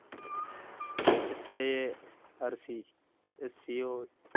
SARSCO